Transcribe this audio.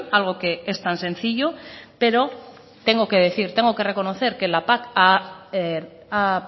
algo que es tan sencillo pero tengo que decir tengo que reconocer que la pac ha